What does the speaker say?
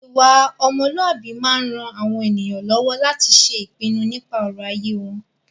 Ìwà ọmọlúàbí máa ń ran àwọn ènìyàn lọ́wọ́ láti ṣe ìpinu nípa ọ̀rọ̀ ayé wọn.